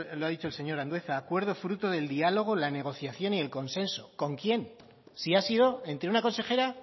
lo ha dicho el señor andueza acuerdo fruto del diálogo la negociación y el consenso con quién si ha sido entre una consejera